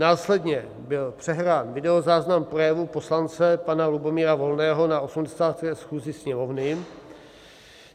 Následně byl přehrán videozáznam projevu poslance pana Lubomíra Volného na 80. schůzi Sněmovny.